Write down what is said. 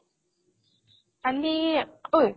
কালি ঐ